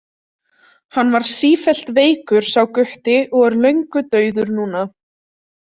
Hann var sífellt veikur sá gutti og er löngu dauður núna.